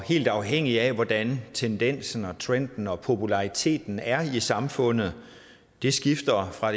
helt afhængigt af hvordan tendensen trenden og populariteten er i samfundet det skifter fra